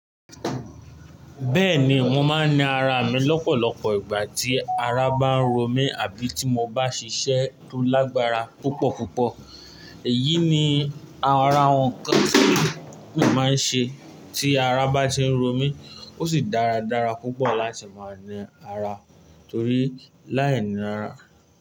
Bẹ́ẹ̀ni, mo máa ń ná ara mi lọ́pọ̀lọpọ̀ ìgbà tí ara bá ń ro mi àbí tí mo bá ṣiṣẹ́ tó lágbára púpọ̀ púpọ̀. Èyí ni ara awọn kan máa ń ṣe tí ara bá ti ń ro mí. Ó sì dáradára púpọ̀ láti máa ní ara torí láìní ara.